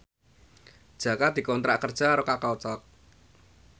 Jaka dikontrak kerja karo Kakao Talk